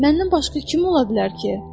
Məndən başqa kim ola bilər ki?